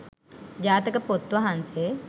ජාතක පොත් වහන්සේ